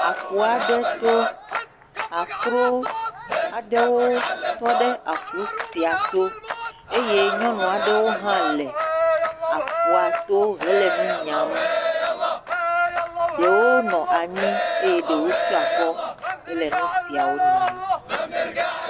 ƒu aɖe to, akro aɖewo tɔ ɖe aƒu sia to eye nyɔu aɖewo hã le aƒua to hele nu nyam. Ɖewo nɔ anyi eye ɖewo tsyɔ akɔ hele nu siawo nyam.